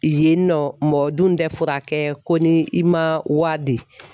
Yen nɔ mɔgɔ dun tɛ fɔ ka kɛ ko ni i man wari di.